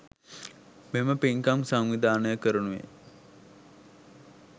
මෙම පින්කම් සංවිධානය කරනුයේ